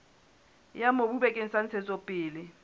ya mobu bakeng sa ntshetsopele